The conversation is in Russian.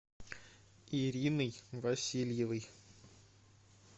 ириной васильевой